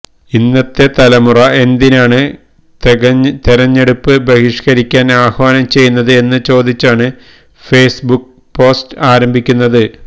ഇന്നത്തെ തലമുറ എന്തിനാണ് തെഗഞ്ഞെടുപ്പ് ബഹിഷ്കരിക്കാന് ആഹ്വാനം ചെയ്യുന്നത് എന്ന് ചോദിച്ചാണ് ഫെയ്സ് ബുക്ക് പോസ്റ്റ് ആരംഭിക്കുന്നത്